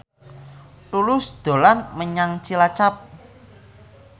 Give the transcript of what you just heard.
Tulus dolan menyang Cilacap